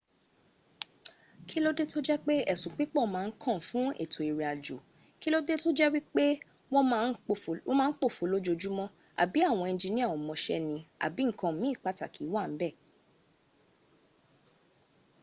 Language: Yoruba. kílódé tó jẹ́ pé esun pipo ma n kan fún étò ìrìn àjò kílódé to jẹ́ wípé wọ ma n pòfo lójojumo àb àwọn enjinia o mọ̀ṣẹ́ ni àbi nkan miin pataki wa níbẹ̀